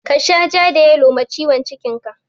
Ka sha ja da yalo ma ciwon cikin ka!